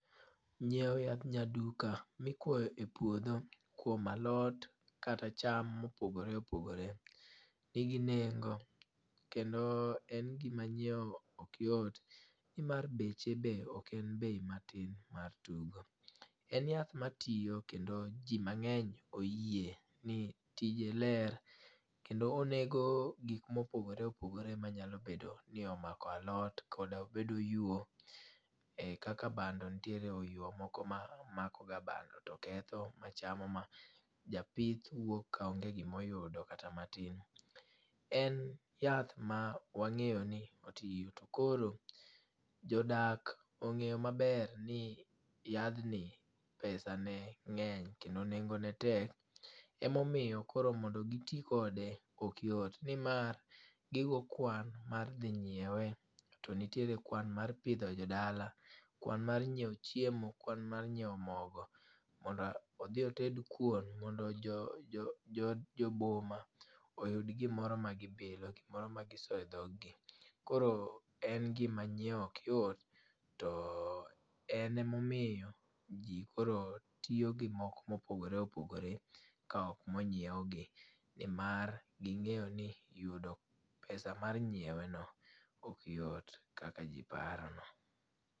Nyieo yadh nyaduka mikwoyo e puodho kuom alot kata cham mopogore opogore nigi nengo kendo en gima nyieo ok yot nimar beche be ok en bei matin mar tugo. En yath matiyo kendo ji mang'eny oyie ni tije ler kendo onego gikmopogore opogore manyalo bedo ni omako alot koda obed oyuo kaka bando ntiere oyuo moko mamakoga bando to ketho machamo ma japith wuok ka onge gimoyudo kata matin. En yath ma wang'eyo ni otiyo to koro jodak ong'eyo maber ni yadhni pesane ng'eny kendo nengone tek emomiyo koro mondo giti kode okyot nimar gigo kwan mar dhi nyiewe to nitire kwan mar pidho jodala, kwan mar nyieo chiemo, kwan mar nyieo mogo mondo odhi oted kuon mondo joboma oyud gimoro ma gibilo gimoro ma giso e dhoggi. Koro en gima nyieo ok yot to en emomiyo ji koro tiyo gi moko mopogore opogore ka ok monyiwgi nimar ging'eyo ni yudo pesa mar nyieweno ok yot kaka ji parono.